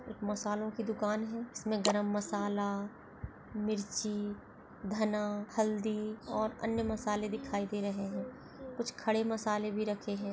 मसालों की दुकान है जिसमे गरम मसाला मिर्ची धना हल्दी और अन्य मसाले दिखाई दे रहे है कुछ खड़े मसले भी रखे है।